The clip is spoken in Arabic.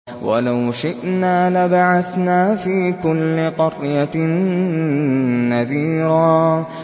وَلَوْ شِئْنَا لَبَعَثْنَا فِي كُلِّ قَرْيَةٍ نَّذِيرًا